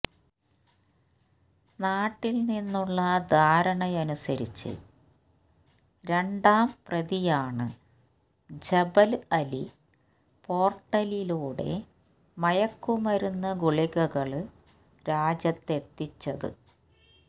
നാട്ടില് നിന്നുള്ള ധാരണയനുസരിച്ച് രണ്ടാം പ്രതിയാണ് ജബല് അലി പോര്ട്ടിലൂടെ മയക്കുമരുന്നു ഗുളികകള് രാജ്യത്തെത്തിച്ചത്